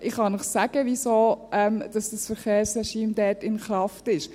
Ich kann Ihnen sagen, wieso dieses Verkehrsregime dort in Kraft ist.